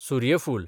सुर्यफूल